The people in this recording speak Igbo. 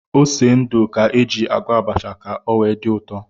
Ose ndụ ka éjị agwọ abacha ka o wee dị ụtọ